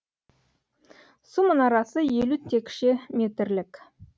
су мұнарасы елу текше метрлік